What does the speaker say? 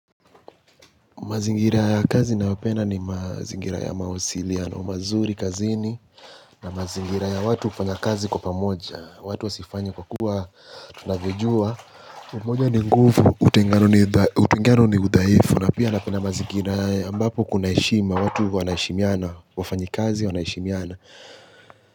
Mazingira ya kazi nayo penda ni mazingira ya mawasiliano mazuri kazini. Na mazingira ya watu hufanya kazi kwa pamoja. Watu wa sifanye kwa kuwa tuna vyojua. Umoja ni nguvu, utengano ni uthaifu. Na pia napenda mazingira ya ambapo kunaheishima. Watu wana heshimiana, wafanyi kazi wana heshimiana.